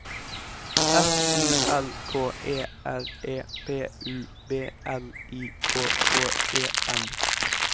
F O L K E R E P U B L I K K E N